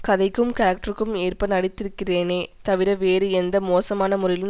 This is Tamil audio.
கதைக்கும் கேரக்டருக்கும் ஏற்ப நடித்திருக்கிறேனே தவிர வேறு எந்த மோசமான முறையிலும்